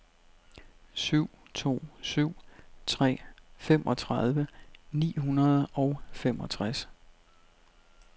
syv to syv tre femogtredive ni hundrede og femogtres